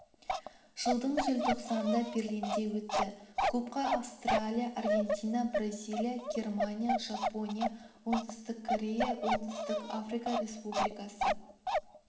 жылдың желтоқсанында берлинде өтті клубқа австралия аргентина бразилия германия жапония оңтүстік корея оңтүстік африка республикасы